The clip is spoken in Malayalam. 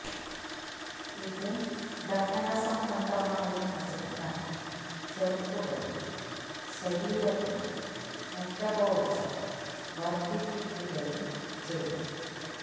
ഇത് ദഹന സംബന്ധമായ പ്രശ്നങ്ങളെ ചെറുക്കുകയും ശരീരത്തിലെ മെറ്റബോളിസം കർധിപ്പിക്കുകയും ചെയ്യും